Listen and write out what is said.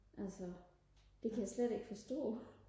altså det kan jeg slet ikke forstå